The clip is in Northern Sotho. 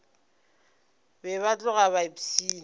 be ba tloga ba ipshina